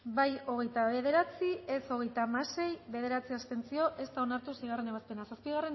bozketaren emaitza onako izan da hirurogeita hamalau